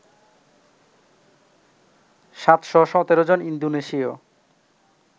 ৭১৭ জন ইন্দোনেশীয়